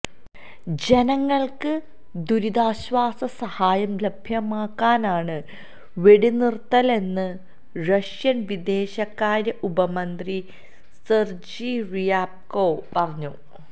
ജനങ്ങള്ക്ക് ദുരിതാശ്വാസസഹായം ലഭ്യമാക്കാനാണ് വെടിനിര്ത്തലെന്ന് റഷ്യന് വിദേശകാര്യ ഉപമന്ത്രി സെര്ജി റിയാബ്കോവ് പറഞ്ഞു